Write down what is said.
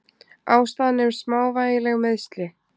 Ástæðan er smávægileg meiðsli.